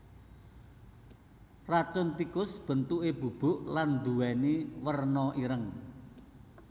Racun tikus bentuké bubuk lan nduwèni werna ireng